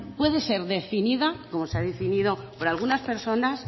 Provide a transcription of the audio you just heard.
puede ser definida como se ha definido por algunas personas